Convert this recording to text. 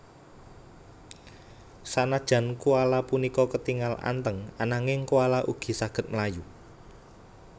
Sanajan koala punika ketingal anteng ananging koala ugi saged mlayu